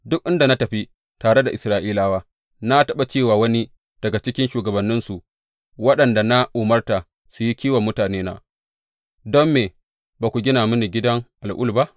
Duk inda na tafi tare da Isra’ilawa, na taɓa ce wa wani daga cikin shugabanninsu waɗanda na umarta su yi kiwon mutanena, Don me ba ku gida mini gidan al’ul ba?